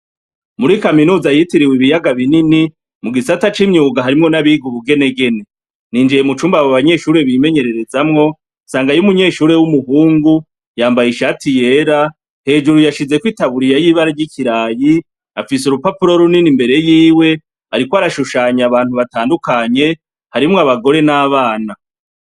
Muri kaminuza yitiriwe ibiyaga binini, mugisata c'imyuga harimwo n'abiga ubugenegene, ninjiye mucumba abo banyeshure bimenyerezamwo ,nsangay'umunyeshure w'umuhungu yambaye ishati yera, hejuru hashizeko itaburiya y'ibara ry'ikirayi, afise urupapuro runini imbere yiwe, arikw'arashushanya abantu batandukanye harimwo abagore, n'abana.